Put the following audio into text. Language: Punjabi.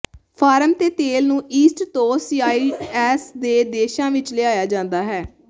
ਫਾਰਮ ਦੇ ਤੇਲ ਨੂੰ ਈਸਟ ਤੋਂ ਸੀਆਈਐਸ ਦੇ ਦੇਸ਼ਾਂ ਵਿਚ ਲਿਆਇਆ ਜਾਂਦਾ ਹੈ